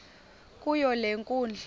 kuyo le nkundla